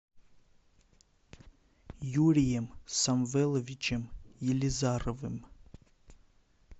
юрием самвеловичем елизаровым